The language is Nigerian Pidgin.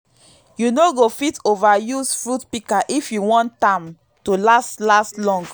you no go fit ova use fruit pika if you wan tam to last last long